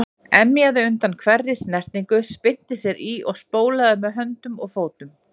Emjaði undan hverri snertingu, spyrnti sér í og spólaði með höndum og fótum.